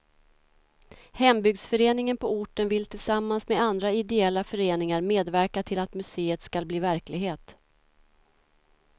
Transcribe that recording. Hembygdsföreningen på orten vill tillsammans med andra ideella föreningar medverka till att museet skall bli verklighet.